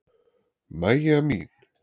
Maja mín.